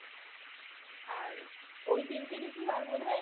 আর ওই তিনটি ঋতু আর বোধ হয়